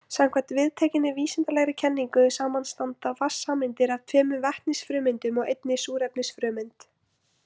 Samkvæmt viðtekinni vísindalegri kenningu samanstanda vatnssameindir af tveimur vetnisfrumeindum og einni súrefnisfrumeind.